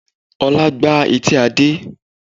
Ọlá gbá etí Adé